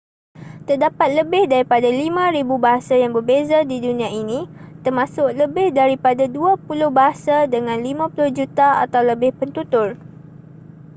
terdapat lebih daripada 5,000 bahasa yang berbeza di dunia ini termasuk lebih daripada dua puluh bahasa dengan 50 juta atau lebih pentutur